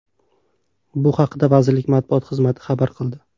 Bu haqida vazirlik matbuot xizmati xabar qildi.